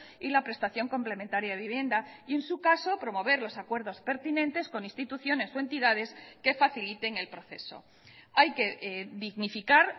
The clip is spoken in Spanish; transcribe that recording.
y la prestación complementaria de vivienda y en su caso promover los acuerdos pertinentes con instituciones o entidades que faciliten el proceso hay que dignificar